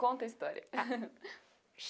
Conta a história. Tá